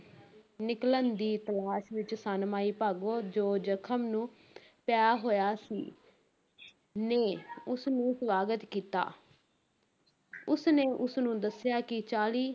ਨਿਕਲਣ ਦੀ ਤਲਾਸ਼ ਵਿੱਚ ਸਨ, ਮਾਈ ਭਾਗੋ, ਜੋ ਜ਼ਖ਼ਮ ਨੂੰ ਪਿਆ ਹੋਇਆ ਸੀ ਨੇ ਉਸਨੂੰ ਸਵਾਗਤ ਕੀਤਾ ਉਸ ਨੇ ਉਸ ਨੂੰ ਦੱਸਿਆ ਕਿ ਚਾਲੀ